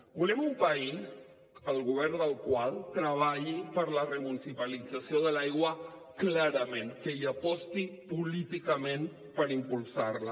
volem un país el govern del qual treballi per la remunicipalització de l’aigua clarament que hi aposti políticament per impulsar la